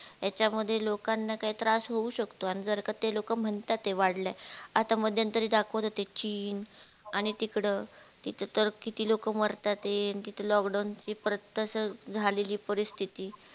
याच्या मध्ये लोकांना काही त्रास होऊ शकतो अन जर का ते लोक म्हणता ते वाढला आहे आता मध्यतरी दाखवत होते चीन आणि तिकड तर किती लोक मारतात हे किती lockdown ची तास झालेली परिस्तित